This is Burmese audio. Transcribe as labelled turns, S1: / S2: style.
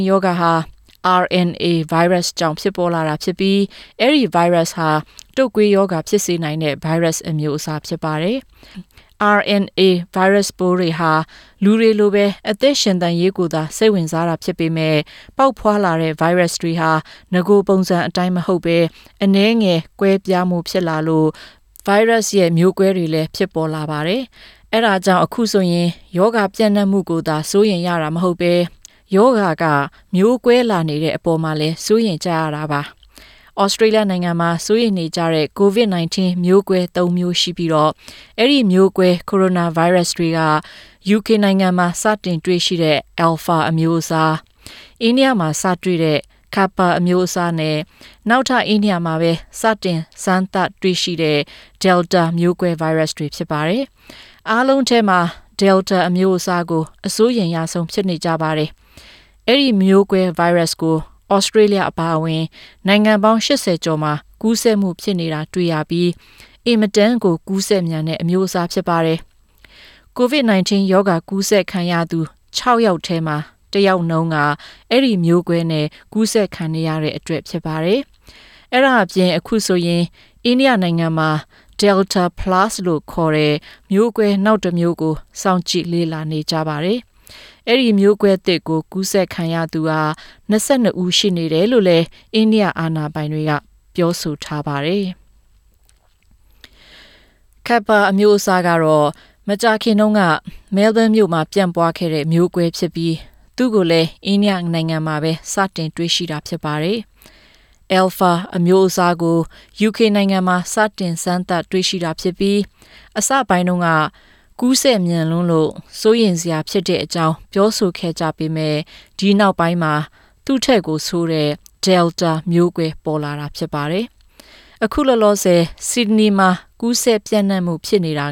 S1: ရောဂါဟာ RNA ဗိုင်းရပ်စ်ကြောင့် ဖြစ်ပေါ်လာတာဖြစ်ပြီး အဲဒီ ဗိုင်းရပ်စ်ဟာ တုတ်ကွေးရောဂါ ဖြစ်စေနိုင်တဲ့ ဗိုင်းရပ်စ်အမျိုးအစားဖြစ်ပါတယ်။ RNA ဗိုင်းရပ်စ်တွေဟာ လူတွေလိုပဲ အသက်ရှင်သန်ရေးကိုသာ စိတ်ဝင်စားတာဖြစ်ပေမယ့် ပေါက်ဖွားလာတဲ့ ဗိုင်းရပ်စ်တွေဟာ နဂိုပုံစံအတိုင်းမဟုတ်ပဲ အနည်းငယ် ကွဲပြားမှု ဖြစ်လာလို့ မျိုးကွဲတွေလည်း ဖြစ်ပေါ်လာပါတယ်။ အဲဒါကြောင့် အခုဆိုရင် ရောဂါပြန့်နှံ့မှုကိုသာ စိုးရိမ်ရတာမဟုတ်ပဲ ရောဂါက မျိုးကွဲလာတဲ့အပေါ်လည်း စိုးရိမ်ကြရတာ ဖြစ်ပါတယ်။ သြစတြေးလျနိုင်ငံမှာ စိုးရိမ်နေကြတဲ့ ကိုဗစ်-၁၉ မျိုးကွဲ ၃ မျိုးရှိပြီး အဲဒီ မျိုးကွဲ ကိုရိုနာဗိုင်းရပ်စ်တွေကတော့ ယူကေမှာ စတင်တွေ့ရှိတဲ့ Alpha အမျိုးအစား၊ အိန္ဒိယမှာ စတွေ့တဲ့ Kappa အမျိုးအစားနဲ့ နောက်ထပ် အိန္ဒိယမှာပဲ စတင်စမ်းသပ်တွေ့ရှိတဲ့ Delta မျိုးကွဲဗိုင်းရပ်စ်တွေ ဖြစ်ပါတယ်။ အားလုံးထဲမှာ ဒယ်လ်တာ အမျိုးအစားကို အစိုးရိမ်ဆုံး ဖြစ်နေကြပါတယ်။ အဲဒီ မျိုးကွဲ ဗိုင်းရပ်စ်ကို သြစတြေးလျအပါအဝင် နိုင်ငံပေါင်း ၈၀ ကျော်မှာ ကူးစက်မှု ဖြစ်နေတာ တွေ့ရပြီး အင်မတန်ကို ကူးစက်မြန်တဲ့ အမျိုးအစား ဖြစ်ပါတယ်။ ကိုဗစ် ကူးစက်သူ ၆ ယောက်ထဲမှာ တစ်ယောက်နှုန်းက အဲဒီ မျိုးကွဲနဲ့ ကူးစက်ခံရတဲ့အတွက် ဖြစ်ပါတယ်။ အဲဒါ့အပြင် အခုဆိုရင် အိန္ဒိယမှာ Delta Plus လို့ခေါ်တဲ့ မျိုးကွဲနောက်တမျိုးကို စောင့်ကြည့်လေ့လာနေပါတယ်။ အဲဒီ မျိုးကွဲသစ်ကို ကူးစက်ခံရသူ ၂၂ ဦး ရှိတယ်လို့လည်း အိန္ဒိယ အာဏာပိုင်တွေက ပြောပါတယ်။ Kappa အမျိုးအစားကတော့ မကြာခင်တုန်းက မဲလ်ဘုန်းမြို့မှာ ပြန့်ပွားခဲ့တဲ့ မျိုးကွဲဖြစ်ပြီးသူ့ကိုလည်း အိန္ဒိယနိုင်ငံမှာပဲ စတင်တွေ့ရှိတာ ဖြစ်ပါတယ်။ အယ်လ်ဖာ အမျိုးအစားကို ယူကေနိုင်ငံမှာ စတင်စမ်းသပ်တွေ့ရှိတာဖြစ်ပြီး အစပိုင်းတုန်းက ကူးစက်မြန်လွန်းလို့ စိုးရိမ်စရာဖြစ်ကြောင်း ပြောဆိုခဲ့ကြပေမယ့် နောက်ပိုင်းမှာတော့ သူ့ထက် ဆိုးတဲ့ ဒယ်လ်တာ မျိုးကွဲ ပေါ်လာတာ ဖြစ်ပါတယ်။ အခုလောလောဆယ် ဆစ်ဒနီမှာ ကူးစက်ပြန့်နှံ့မှု ဖြစ်နေတာ